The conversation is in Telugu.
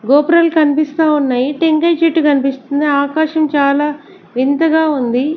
గోపురాలు కనిపిస్తా ఉన్నాయి టెంకాయ చెట్టు కనిపిస్తుంది ఆకాశం చాలా వింతగా ఉంది.